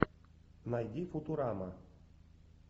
найди футурама